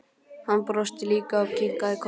Hann brosti líka og kinkaði kolli.